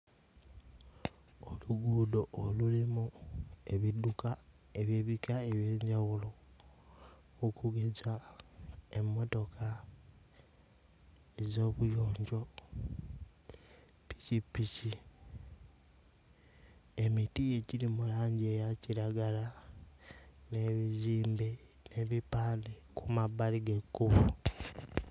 Oluguudo olulimu ebidduka eby'ebika eby'enjawulo okugeza emmotoka ez'obuyonjo, ppikipiki. Emiti egiri mu langi eya kiragala n'ebizimbe n'ebipande ku mabbali g'ekkubo.